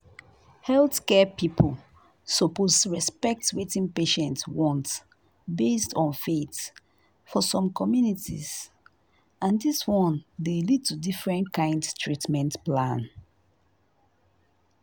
healthcare people suppose respect wetin patients want based on faith for some communities and this one dey lead to different kind treatment plan